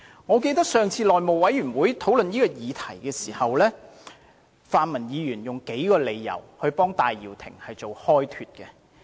我記得上次內務委員會討論此議題時，泛民議員用數個理由替戴耀廷開脫。